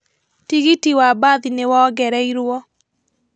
Tigiti wa mbathi nĩwongereirwo